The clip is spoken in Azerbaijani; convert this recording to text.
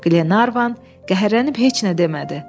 Qlenarvan kəhərlənib heç nə demədi.